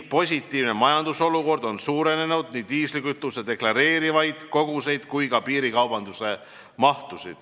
Positiivne majandusolukord on suurendanud nii diislikütuse deklareeritavaid koguseid kui ka piirikaubanduse mahtu.